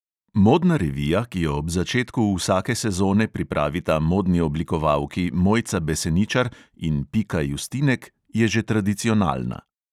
Modna revija, ki jo ob začetku vsake sezone pripravita modni oblikovalki mojca beseničar in pika justinek, je že tradicionalna.